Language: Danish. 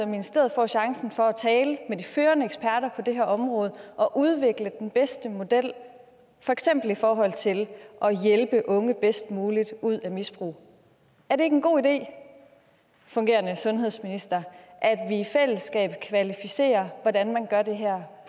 ministeriet får chancen for at tale med de førende eksperter på det her område og udvikle den bedste model for eksempel i forhold til at hjælpe unge bedst muligt ud af misbrug er det ikke en god idé fungerende sundhedsminister at vi i fællesskab kvalificerer hvordan man gør det her